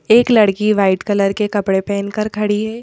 एक लड़की white colour के कपड़े पहेन कर खड़ी है।